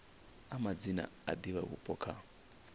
a madzina a divhavhupo kha